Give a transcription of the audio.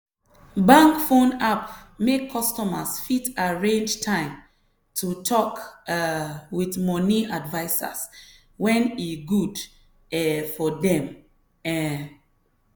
bank phone app make customers fit arrange time to talk um with money advisers when e good um for dem. um